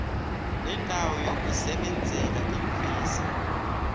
lendawo yokusebenzela iimfesi